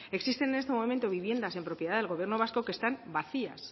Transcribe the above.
existen en este momento viviendas en propiedad del gobierno vasco que están vacías